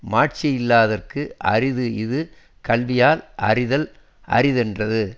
மாட்சியில்லார்க்கு அரிது இது கல்வியால் அறிதல் அரிதென்றது